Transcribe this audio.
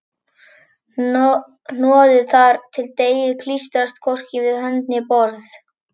Hnoðið þar til deigið klístrast hvorki við hönd né borð.